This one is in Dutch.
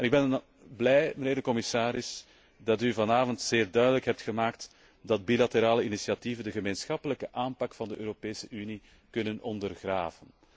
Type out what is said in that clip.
Ik ben blij, mijnheer de commissaris, dat u vanavond zeer duidelijk hebt gemaakt dat bilaterale initiatieven de gemeenschappelijke aanpak van de Europese Unie kunnen ondergraven.